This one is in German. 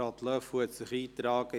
Löffel hat sich eingetragen.